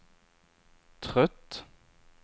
trött